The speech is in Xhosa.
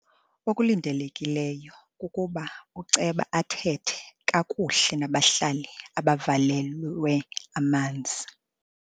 Okulindelekileyo kukuba uceba athethe kakuhle nabahlali abavalelwe amanzi.